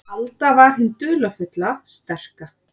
Alda var hin dularfulla, sterka.